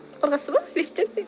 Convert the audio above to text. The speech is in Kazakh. қорқасыз ба лифттен